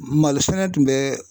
Malo sɛnɛ tun bɛ